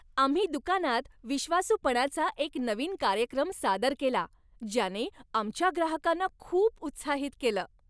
आम्ही दुकानात विश्वासूपणाचा एक नवीन कार्यक्रम सादर केला ज्याने आमच्या ग्राहकांना खूप उत्साहित केलं.